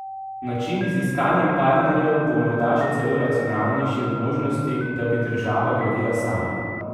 Način z iskanjem partnerjev bo morda še celo racionalnejši od možnosti, da bi država gradila sama.